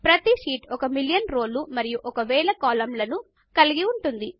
ప్రతి sheet million ఒక రోలు మరియు ఒక వేయి కాలమ్ లను కలిగి ఉంటుంది